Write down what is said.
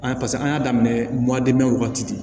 An paseke an y'a daminɛ wagati de